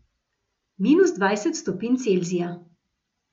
Minus dvajset stopinj Celzija.